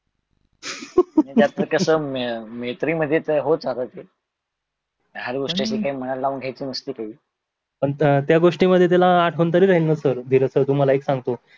म्हणजे आता कशे की मैत्री मधे ते होत राहते. ते लहान गोष्ट मनाला लावून घ्यायची नसते काही पण त्या गोष्टी वर त्याला आठवण थोडी न राहणार सर धीरज सर तुम्हाला एक सांगतो त्या प्रकारचे मैत्री होत राहतात ते